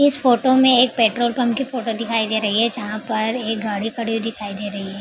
इस फोटो में एक पेट्रोल पंप की फोटो दिखाई दे रही है जहाँ पर एक गाड़ी खड़ी हुई दिखाई दे रही है ।